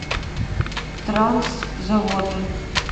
транс заводы